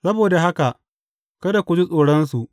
Saboda haka kada ku ji tsoronsu.